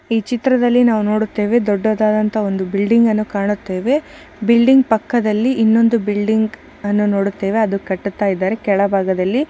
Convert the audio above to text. ಈ ಚಿತ್ರದಲ್ಲಿ ನಾವು ನೋಡುತ್ತೇವೆ ಒಂದು ದೊಡ್ಡದಾದಂತ ಬಿಲ್ಡಿಂಗ್ ಅನ್ನು ಕಾಣುತ್ತೇವೆ ಬಿಲ್ಡಿಂಗ್ ಪಕ್ಕದಲ್ಲಿ ಇನ್ನೊಂದು ಬಿಲ್ಡಿಂಗ್ ಅನ್ನು ನೋಡುತ್ತೇವೆ ಅದು ಕಟ್ಟುತ್ತಾ ಇದ್ದಾರೆ ಕೆಳಭಾಗದಲ್ಲಿ --